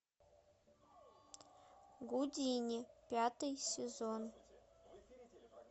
гудини пятый сезон